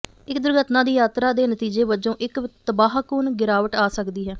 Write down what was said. ਇੱਕ ਦੁਰਘਟਨਾ ਦੀ ਯਾਤਰਾ ਦੇ ਨਤੀਜੇ ਵਜੋਂ ਇੱਕ ਤਬਾਹਕੁਨ ਗਿਰਾਵਟ ਆ ਸਕਦੀ ਹੈ